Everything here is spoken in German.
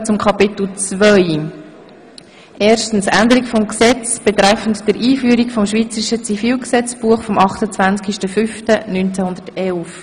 Wir kommen zu Kapitel II., 1 Änderung des Gesetzes betreffen der Einführung des Schweizerischen Zivilgesetzbuchs (EG ZGB) vom 28.5.1911.